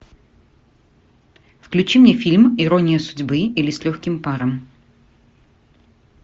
включи мне фильм ирония судьбы или с легким паром